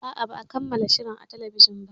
A'a, ba a kammala shirin a talbijin ba.